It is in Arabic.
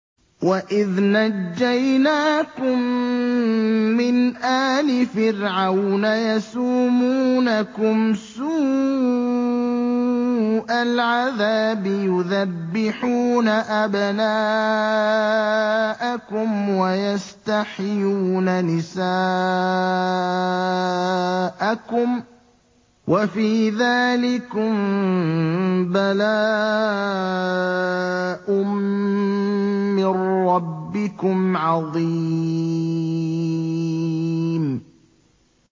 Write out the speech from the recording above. وَإِذْ نَجَّيْنَاكُم مِّنْ آلِ فِرْعَوْنَ يَسُومُونَكُمْ سُوءَ الْعَذَابِ يُذَبِّحُونَ أَبْنَاءَكُمْ وَيَسْتَحْيُونَ نِسَاءَكُمْ ۚ وَفِي ذَٰلِكُم بَلَاءٌ مِّن رَّبِّكُمْ عَظِيمٌ